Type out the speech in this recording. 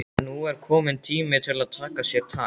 Nú er kominn tími til að taka sér tak.